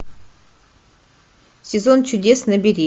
сезон чудес набери